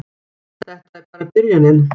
Þetta er bara byrjunin!